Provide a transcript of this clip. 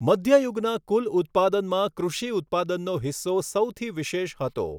મધ્યયુગના કુલ ઉત્પાદનમાં કૃષિ ઉત્પાદનનો હિસ્સો સૌથી વિશેષ હતો.